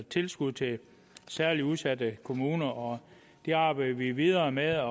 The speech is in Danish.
tilskud til særligt udsatte kommuner og det arbejder vi videre med der